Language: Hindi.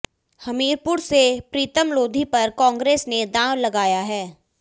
हमीरपुर से प्रीतम लोधी पर कांग्रेस ने दांव लगाया है